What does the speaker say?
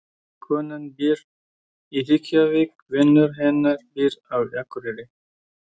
Konan býr í Reykjavík. Vinur hennar býr á Akureyri.